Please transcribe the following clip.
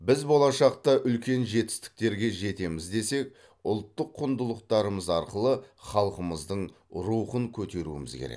біз болашақта үлкен жетістіктерге жетеміз десек ұлттық құндылықтарымыз арқылы халқымыздың рухын көтеруіміз керек